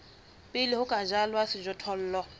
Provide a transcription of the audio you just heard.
pele ho ka jalwa sejothollo